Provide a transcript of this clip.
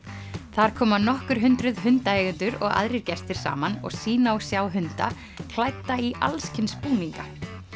þar koma nokkur hundruð hundaeigendur og aðrir gestir saman og sýna og sjá hunda klædda í alls kyns búninga